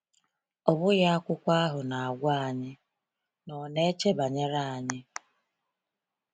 Ọ bụghị akwụkwọ ahụ na-agwa anyị na ọ ‘na-eche banyere anyị’?